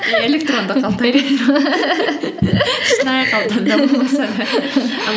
электронды қалта шынайы қалтада болмаса да